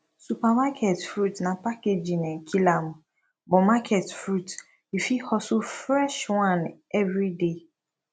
supermarket fruits na packaging um kill am but market fruits yu fit hustle fresh one evriday